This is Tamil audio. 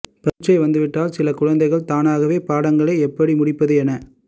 பரீட்சை வந்துவிட்டால் சில குழந்தைகள் தாங்களாகவே பாடங்களை எப்படி முடிப்பது என